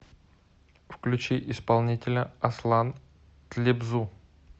включи исполнителя аслан тлебзу